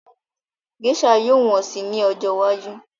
Gésà yóò wọ́n si ní ọjọ́ iwájú